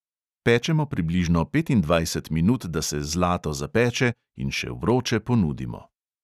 Pečemo približno petindvajset minut, da se zlato zapeče, in še vroče ponudimo.